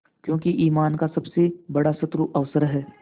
क्योंकि ईमान का सबसे बड़ा शत्रु अवसर है